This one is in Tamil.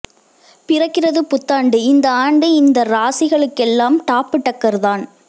பிறக்கிறது புத்தாண்டு இந்த ஆண்டு இந்த ராசிகளுக்கெல்லாம் டாப்பு டக்கர் தான்